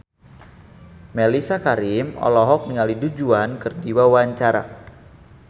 Mellisa Karim olohok ningali Du Juan keur diwawancara